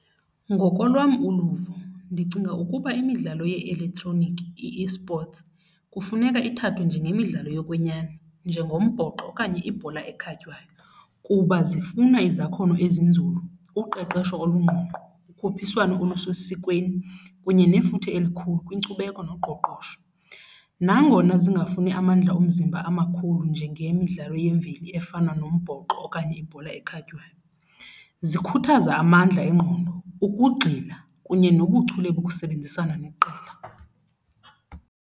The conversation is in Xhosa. Ngokolwam uluvo ndicinga ukuba imidlalo ye-elektroniki, i-esports, kufuneka ithathwe njengemidlalo yokwenyani njengombhoxo okanye ibhola ekhatywayo kuba zifuna izakhono ezinzulu, uqeqesho olungqongqo, ukhuphiswano ulusesikweni kunye nefuthe elikhulu kwinkcubeko noqoqosho. Nangona zingafuni amandla omzimba amakhulu njengemidlalo yemveli efana nombhoxo okanye ibhola ekhatywayo, zikhuthaza amandla engqondo, ukugxila kunye nobuchule bokusebenzisana neqela.